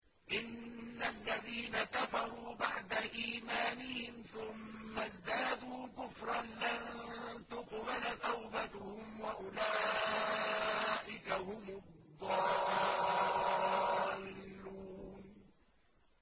إِنَّ الَّذِينَ كَفَرُوا بَعْدَ إِيمَانِهِمْ ثُمَّ ازْدَادُوا كُفْرًا لَّن تُقْبَلَ تَوْبَتُهُمْ وَأُولَٰئِكَ هُمُ الضَّالُّونَ